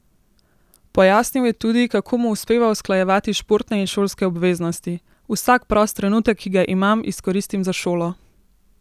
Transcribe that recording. Pojasnil je tudi, kako mu uspeva usklajevati športne in šolske obveznosti: "Vsak prost trenutek, ki ga imam, izkoristim za šolo.